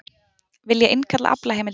Vilja innkalla aflaheimildir